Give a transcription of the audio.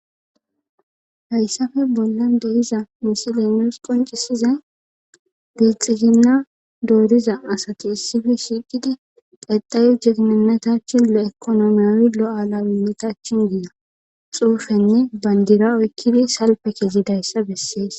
Hayssafe bolla dehiza musile noos qoncisizay bixiginna dooriza asati issife shiiqidi pedayu jegnenetachi lo7ekonomiyoi lo7alawinnitachin giida xuufenne bandira oykkidi salpe kezi dayssa bessees.